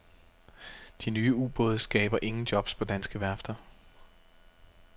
De nye ubåde skaber ingen jobs på danske værfter.